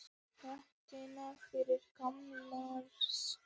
Nóttina fyrir gamlársdag.